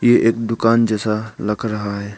ये एक दुकान जैसा लग रहा है।